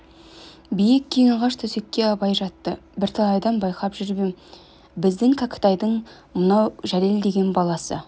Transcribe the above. биік кең ағаш төсекке абай жатты бірталайдан байқап жүр ем біздің кәкітайдың мынау жәлел деген баласы